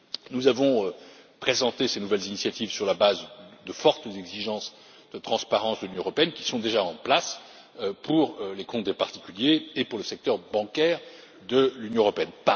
Nous avons présenté ces nouvelles initiatives sur la base de fortes exigences de transparence de l'Union européenne, qui sont déjà en place pour les comptes des particuliers et pour le secteur bancaire de l'Union européenne.